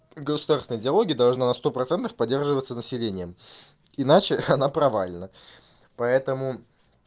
государственная идеология должна сто процентов поддерживаться населением иначе она провальна поэтому